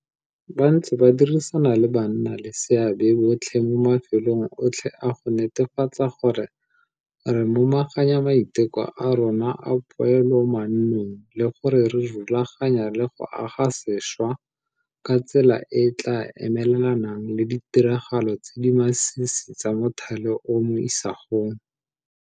Ba ntse ba dirisana le bannaleseabe botlhe mo mafelong otlhe a go netefatsa gore re momaganya maiteko a rona a poelomannong le gore re rulaganya le go aga sešwa ka tsela e e tla emelelanang le ditiragalo tse di masisi tsa mothale o mo isagong.